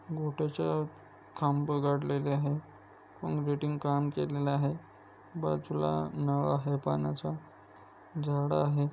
घोटयाच्या खांब गाडलेले आहे. कोकरेटिंग काम केलेला आहे. बाजूला नळ आहे पाण्याचा. झाड आहे.